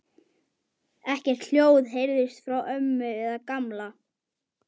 Ekkert hljóð heyrðist frá ömmu eða Gamla.